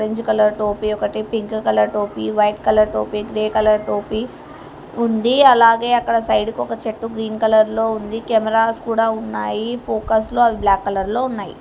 Colour టోపీ ఒకటి pink colour టోపీ వైట్ కలర్ టోపీ గ్రే కలర్ టోపీ ఉంది అలాగే అక్కడ సైడు కి ఒక చెట్టు గ్రీన్ కలర్ లో ఉంది కేమారాస్ కూడా ఉన్నాయి ఫోకస్ లో అవి బ్లాక్ కలర్ లో ఉన్నాయి.